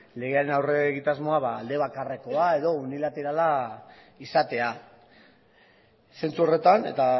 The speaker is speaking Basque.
legearen aurre egitasmoa alde bakarrekoa edo unilaterala izatea zentzu horretan eta